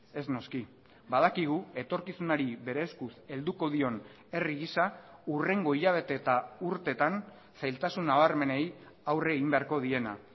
ez noski badakigu etorkizunari bere eskuz helduko dion herri gisa hurrengo hilabete eta urteetan zailtasun nabarmenei aurre egin beharko diena